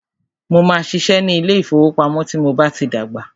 Mó máà ṣiṣẹ́ ní ilé ìfọwọ́pamo tí mo bá tí dàgbà.